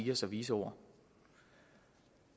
med så vise ord